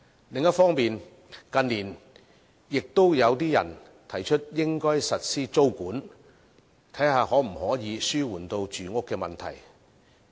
另一方面，近年亦有些人提出應該實施租務管制，看看可否紓緩住屋問題。